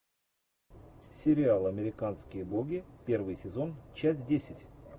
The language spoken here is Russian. сериал американские боги первый сезон часть десять